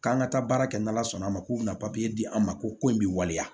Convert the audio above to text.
K'an ka taa baara kɛ n'ala sɔnn'a ma k'u bɛna di an ma ko in bɛ waleya